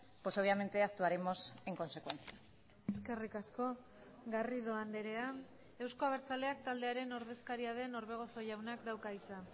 pues obviamente actuaremos en consecuencia eskerrik asko garrido andrea euzko abertzaleak taldearen ordezkaria den orbegozo jaunak dauka hitza